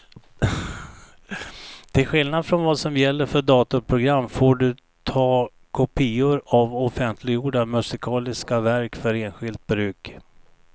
Till skillnad från vad som gäller för datorprogram får du ta kopior av offentliggjorda musikaliska verk för enskilt bruk.